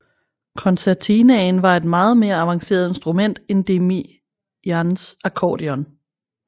Concertinaen var et meget mere avanceret instrument end Demians Akkordion